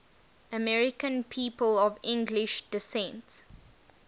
american people of english descent